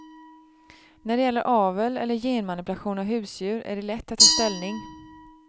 När det gäller avel eller genmanipulation av husdjur är det lätt att ta ställning.